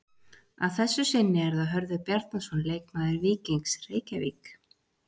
Að þessu sinni er það Hörður Bjarnason leikmaður Víkings Reykjavík.